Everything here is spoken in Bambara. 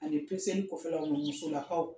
Ani peseni kɔfɛlaw musolakaw.